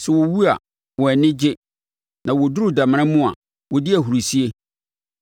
Sɛ wɔwu a, wɔn ani gye na wɔduru damena mu a, wɔdi ahurisie.